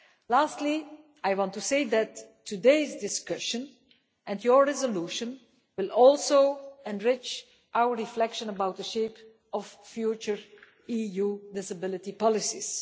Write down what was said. Lastly, I want to say that today's discussion and your resolution will also enrich our reflection on the shape of future EU disability policies.